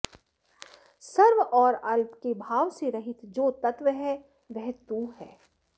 सर्व और अल्प के भाव से रहित जो तत्त्व है वह तू है